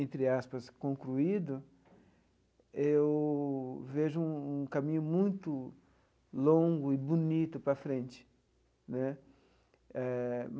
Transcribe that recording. entre aspas, concluído, eu vejo um caminho muito longo e bonito para frente né eh.